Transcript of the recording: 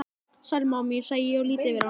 Sæl mamma mín, segi ég og lýt yfir hana.